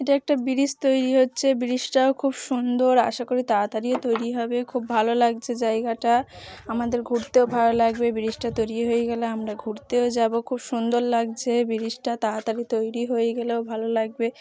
এটা একটা ব্রিজ তৈরি হচ্ছে ব্রিজটা ও খুব সুন্দর আশা করি তাড়াতাড়িও তৈরি হবে খুব ভালো লাগছে জায়গাটা আমাদের ঘুরতেও ভালো লাগবে। ব্রিজটা তৈরি হয়ে গেলে আমরা ঘুরতে যাব খুব সুন্দর লাগছে ব্রিজটা তাড়াতাড়ি তৈরি হয়ে গেলেও ভালো লাগবে।